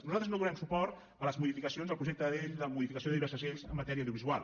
nosaltres no donarem suport a les modificacions al projecte de llei de modificació de diverses lleis en matèria audiovisual